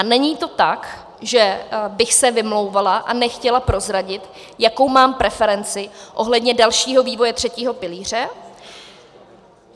A není to tak, že bych se vymlouvala a nechtěla prozradit, jakou mám preferenci ohledně dalšího vývoje třetího pilíře.